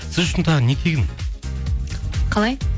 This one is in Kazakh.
сіз үшін тағы не тегін қалай